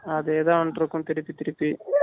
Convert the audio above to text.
அதே தான் வந்துட்டு இருக்கும் திருப்பி திருப்பி